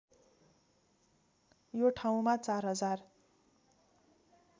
यो ठाउँमा ४०००